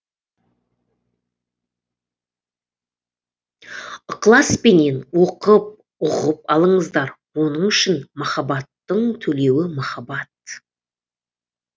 ықыласпенен оқып ұғып алыңыздар оның үшін махаббаттың төлеуі махаббат